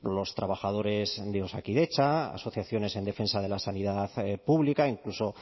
los trabajadores de osakidetza asociaciones en defensa de la sanidad pública incluso